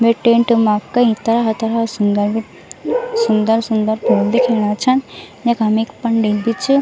वे tent मा कई तरह-तरह सुन्दर सुन्दर-सुन्दर फूल दिखेणा छन यखम एक पंडित भी च।